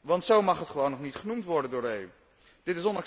want zo mag het gewoon nog niet genoemd worden door de EU.